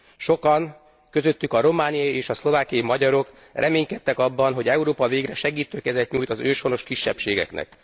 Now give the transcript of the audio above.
Sokan, köztük romániai és szlovákiai magyarok, reménykedtek abban, hogy Európa végre segítő kezet nyújt az őshonos kisebbségeknek.